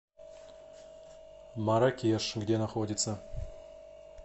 маракеш где находится